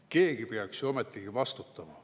Keegi peaks ju ometigi vastutama.